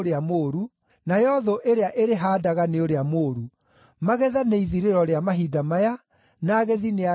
nayo thũ ĩrĩa ĩrĩhaandaga nĩ ũrĩa mũũru. Magetha nĩ ithirĩro rĩa mahinda maya, na agethi nĩ araika.